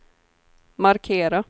markera